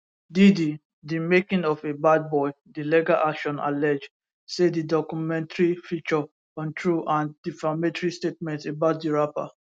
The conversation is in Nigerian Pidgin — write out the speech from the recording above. diddy di making of a bad boy di legal action allege say di documentary feature untrue and defamatory statements about di rapper